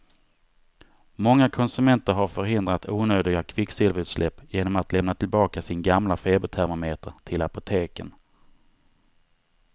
Många konsumenter har förhindrat onödiga kvicksilverutsläpp genom att lämna tillbaka sin gamla febertermometer till apoteken.